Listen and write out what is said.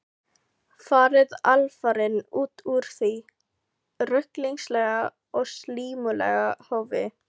Farið alfarinn út úr því ruglingslega og slímuga hofi.